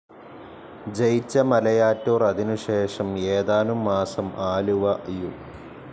ജയിച്ച മലയാറ്റൂർ അതിനുശേഷം ഏതാനും മാസം ആലുവ യു.